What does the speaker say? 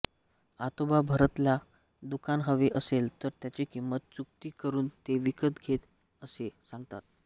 आतोबा भारतला दुकान हवे असेल तर त्याची किंमत चूकती करुन ते विकत घे असे सांगतात